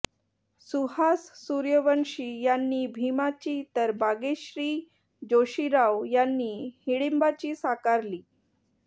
सुहास सूर्यवंशी यांनी भीमाची तर बागेश्री जोशीराव यांनी हिडींबाची साकारली